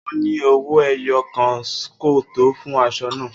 O ni owoẹyo kan ko to fun aṣọ naa.